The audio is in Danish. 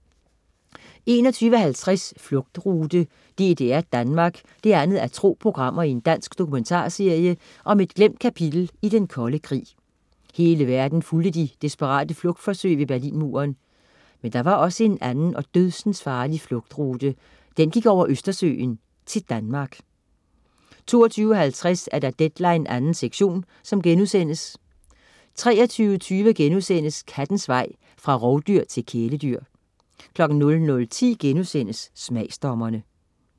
21.50 Flugtrute: DDR-Danmark 2:2 Dansk dokumentarserie om et glemt kapitel i den kolde krig. Hele verden fulgte de desperate flugtforsøg ved Berlinmuren. Men der var også en anden og dødsensfarlig flugtrute. Den gik over Østersøen, til Danmark 22.50 Deadline 2. sektion* 23.20 Kattens vej fra rovdyr til kæledyr* 00.10 Smagsdommerne*